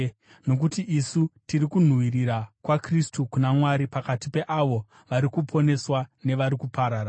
Nokuti isu tiri kunhuhwirira kwaKristu kuna Mwari pakati peavo vari kuponeswa nevari kuparara.